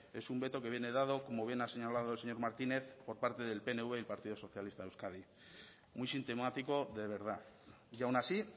es un veto que viene dado como bien a señalado el señor martínez por parte del pnv y del partido socialista de euskadi muy sintomático de verdad y aún así